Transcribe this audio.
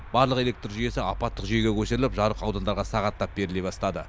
барлық электр жүйесі апаттық жүйеге көшіріліп жарық аудандарға сағаттап беріле бастады